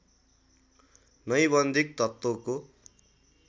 नैबन्धिक तत्त्वको